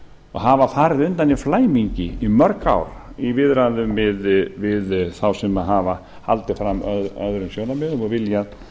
og hafa farið undan í flæmingi í mörg ár í viðræðum við þá sem hafa haldið fram öðrum sjónarmiðum og viljað